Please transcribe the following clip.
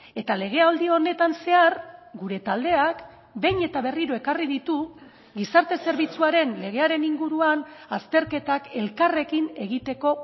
eta legealdi honetan zehar gure taldeak behin eta berriro ekarri ditu gizarte zerbitzuaren legearen inguruan azterketak elkarrekin egiteko